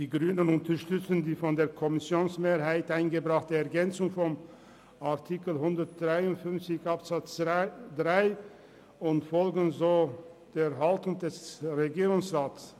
Die Grünen unterstützen die von der Kommissionsmehrheit eingebrachte Ergänzung von Artikel 153 Absatz 3 und folgen somit der Haltung des Regierungsrats.